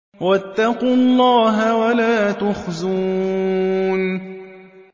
وَاتَّقُوا اللَّهَ وَلَا تُخْزُونِ